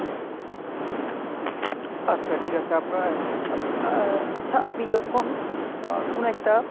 আচ্ছা ঠিক আছে আপনার, আ~ আচ্ছা আপনি যখন আহ কোনো একটা